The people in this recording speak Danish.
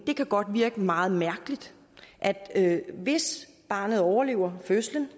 godt kan virke meget mærkeligt at hvis barnet overlever fødslen